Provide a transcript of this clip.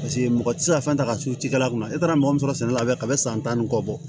Paseke mɔgɔ tɛ se ka fɛn ta ka sukaro kunna e taara mɔgɔ min sɔrɔ sɛnɛ la ka bɛn san tan ni kɔ bɔ